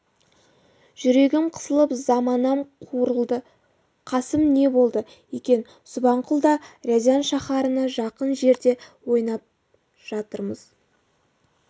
жүрегім қысылып заманам қурылды қасым не болды екен субанқұл да рязань шаһарына жақын жерде ойнап жатырмыз